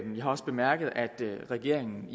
vi har også bemærket at regeringen